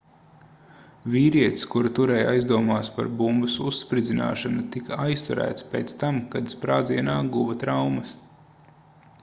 vīrietis kuru turēja aizdomās par bumbas uzspridzināšanu tika aizturēts pēc tam kad sprādzienā guva traumas